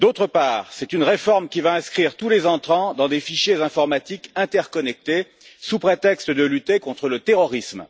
Par ailleurs, c'est une réforme qui va inscrire tous les entrants dans des fichiers informatiques interconnectés sous prétexte de lutter contre le terrorisme.